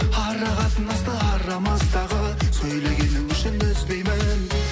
ара қатынасты арамыздағы сөйлегенің үшін үзбеймін